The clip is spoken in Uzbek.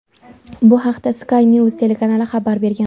Bu haqda Sky News telekanali xabar bergan .